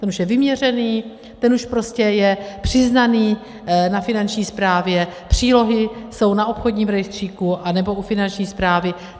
Ten už je vyměřený, ten už prostě je přiznaný na Finanční správě, přílohy jsou na obchodním rejstříku anebo u Finanční správy.